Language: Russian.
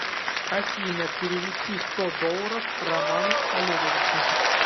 афина перевести сто долларов роману олеговичу